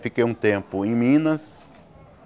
Fiquei um tempo em Minas.